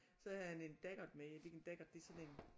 Så havde han en daggert med er det ikke en daggert det er sådan en